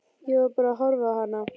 Ég var bara að horfa á hana.